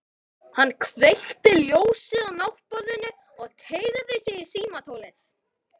Hann kveikti ljósið á náttborðinu og teygði sig í símtólið.